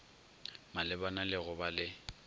malebana le go ba le